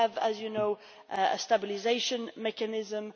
We have, as you know, a stabilisation mechanism.